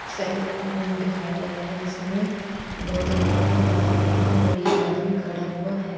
Salon दिखाया गया जिसमें दो तीन लड़के बैठे हुए हैं और एक आदमी खड़ा हुआ है।